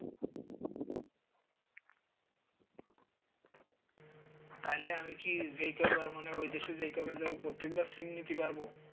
তাহলে আমি কি যেই কয়বার মানে ওই দেশে যেই কয়বার যাব প্রত্যেকবার sim নিতে পারব?